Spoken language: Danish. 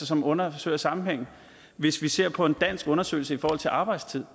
som undersøger sammenhængen hvis vi ser på en dansk undersøgelse i forhold til arbejdstid